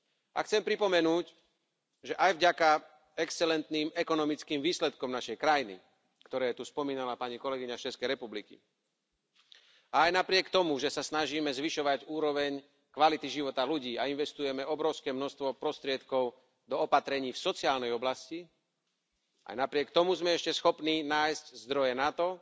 A chcem pripomenúť, že aj vďaka excelentným ekonomickým výsledkom našej krajiny, ktoré tu spomínala pani kolegyňa z Českej republiky, aj napriek tomu, že sa snažíme zvyšovať úroveň kvality života ľudí a investujeme obrovské množstvo prostriedkov do opatrení v sociálnej oblasti, aj napriek tomu sme ešte schopní nájsť zdroje na to,